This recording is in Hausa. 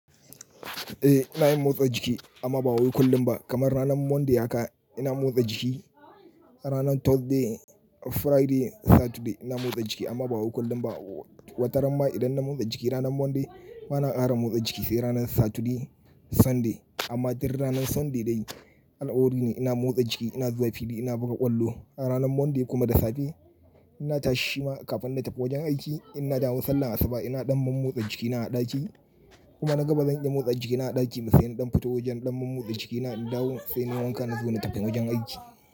Eh ina yin motsa jiki amma ba wai kullum ba. Kamar ranar Monday haka ina motsa jiki, ranar Thursday, Friday, Saturday ina motsa jiki amma ba wai kullum ba. Wataranma idan na motsa jiki ranar Monday bana ƙara motsa jiki sai ranar Saturday, Sunday. Amma dur ranar Sunday dai alkawari ne ina motsa jiki, ina zuwa fili, ina buga ƙwallo. A ranar Monday kuma da safe ina tashi shima kafin na tafi wajen aiki ina dawun sallah asuba ina ɗan man motsa jikina a ɗaki kuma na gaba zan iya motsa jikina a ɗaki sai in ɗan fito wajen ɗan man motsa jikina in dawo sai nayi wanka nazo na tafi wajen aiki.